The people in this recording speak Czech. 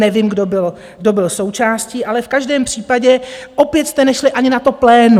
Nevím, kdo byl součástí, ale v každém případě opět jste nešli ani na to plénum.